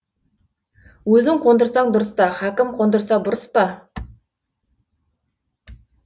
өзің қондырсаң дұрыс та хакім қондырса бұрыс па